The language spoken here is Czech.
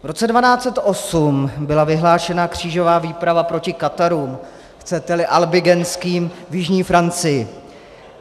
V roce 1208 byla vyhlášena křížová výprava proti katarům, chcete-li albigenským, v jižní Francii.